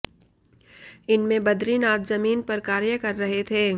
इनमें बद्रीनाथ जमीन पर कार्य कर रहे थे